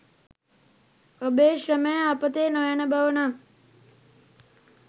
ඔබේ ශ්‍රමය අපතේ නොයන බව නම්